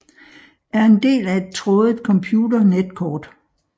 Er en del af et trådet computer netkort